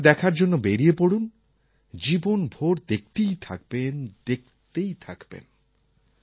একবার দেখার জন্য বেরিয়ে পড়ুন জীবনভোর দেখতেই থাকবেন দেখতেই থাকবেন